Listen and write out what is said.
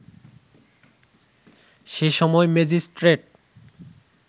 সে সময় ম্যাজিস্ট্রেট